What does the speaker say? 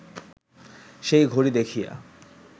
সেই ঘড়ি দেখিয়া